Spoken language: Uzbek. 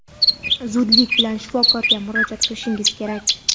zudlik bilan shifokorga murojaat qilishingiz kerak.